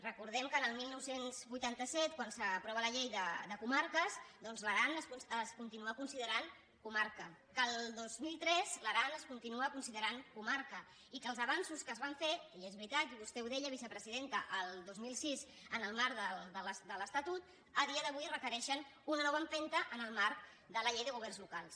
recordem que el dinou vuitanta set quan s’aprova la llei de comarques doncs l’aran es continua considerant comarca que el dos mil tres l’aran es continua considerant comarca i que els avanços que es van fer i és veritat i vostè ho deia vicepresidenta el dos mil sis en el marc de l’estatut a dia d’avui requereixen una nova empenta en el marc de la llei de governs locals